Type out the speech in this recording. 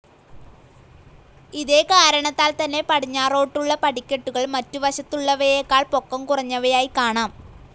ഇതേകാരണത്താൽ തന്നെ പടിഞ്ഞാറോട്ടുള്ള പടിക്കെട്ടുകൾ മറ്റു വശത്തുള്ളവയെക്കാൾ പൊക്കം കുറഞ്ഞവയായി കാണാം.